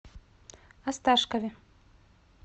осташкове